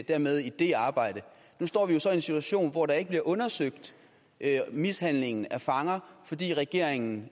dermed i det arbejde nu står vi jo så i en situation hvor der ikke bliver undersøgelse af mishandling af fanger fordi regeringen